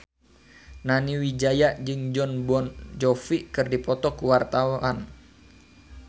Nani Wijaya jeung Jon Bon Jovi keur dipoto ku wartawan